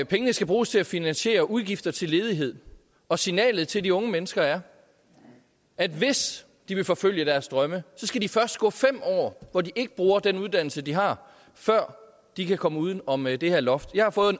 pengene skal bruges til at finansiere udgifter til ledighed og signalet til de unge mennesker er at hvis de vil forfølge deres drømme så skal de først gå i fem år hvor de ikke bruger den uddannelse de har før de kan komme uden om det her loft jeg har fået